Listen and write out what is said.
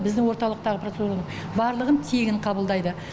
біздің орталықтағы процедуралардың барлығын тегін қабылдайды